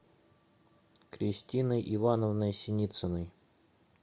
кристиной ивановной синицыной